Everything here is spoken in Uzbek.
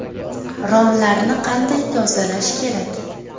Romlarni qanday tozalash kerak?